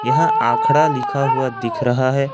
यहां आखड़ा लिखा हुआ दिख रहा है।